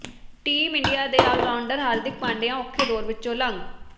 team India ਦੇ allrounder Hardik Pandya ਔਖੇ ਦੌਰ ਵਿਚੋਂ ਲੰਘ